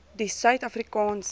die suid afrikaanse